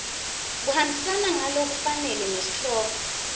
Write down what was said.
kuhambisana ngalokufanele nesihloko